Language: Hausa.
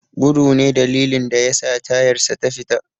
Gudu ne dalilin da yasa tayarsa ta fita.